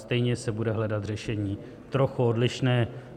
Stejně se bude hledat řešení trochu odlišné.